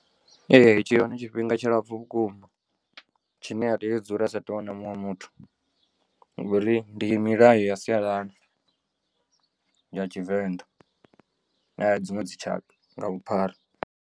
Ee tshi hone tshifhinga tshilapfu vhukuma tshine a tea u dzula a sa athu u wana muṅwe muthu ngori ndi milayo ya sialala ya tshivenḓa na ya dziṅwe dzitshaka nga vhuphara.